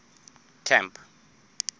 camp